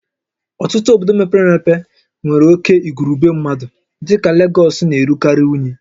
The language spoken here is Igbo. Ọtụtụ obodo mepere emepe nwere oke igwurube mmadụ dịka Legọs na-erukarị unyi